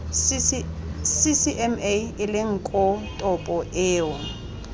ccma eleng koo topo eo